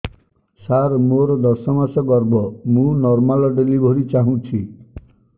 ସାର ମୋର ଦଶ ମାସ ଗର୍ଭ ମୁ ନର୍ମାଲ ଡେଲିଭରୀ ଚାହୁଁଛି